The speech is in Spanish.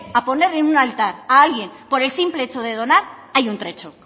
a poner en un altar a alguien por el simple hecho de donar hay un trecho